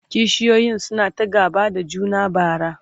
kishiyoyin suna ta gaba da juna bara